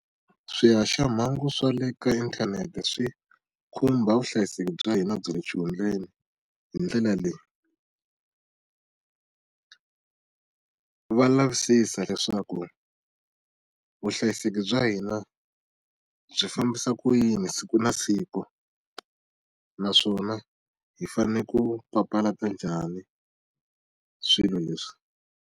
Swihaxamahungu swa le ka inthanete swi khumba vuhlayiseki bya hina bya le xihundleni hi ndlela leyi va lavisisa leswaku vuhlayiseki bya hina byi fambisa ku yini siku na siku, naswona hi fanele ku papalata njhani swilo leswi.